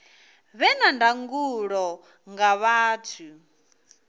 vhe na ndangulo nga vhathu